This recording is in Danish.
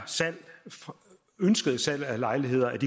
ønskede salg af lejligheder